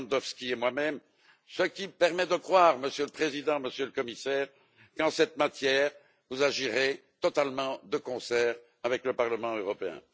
Lewandowski et moi même ce qui me permet de croire, Monsieur le Président, Monsieur le Commissaire, qu'en cette matière vous agirez totalement de concert avec le Parlement européen.